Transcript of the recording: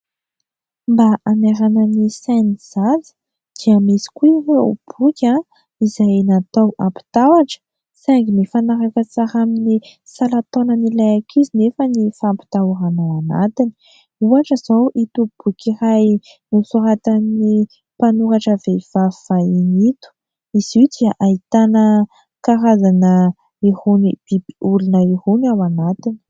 Mba hanairana ny sain'ny zaza, dia misy koa ireo boky izay natao ampitahotra saingy mifanaraka tsara amin'ny salan-taonan'ilay ankizy nefa ny fampitahorana ao anatiny. Ohatra izao ito boky iray nosoratan'ny mpanoratra vehivavy vahiny ito. Izy io dia ahitana karazana irony bibiolona irony ao anatiny.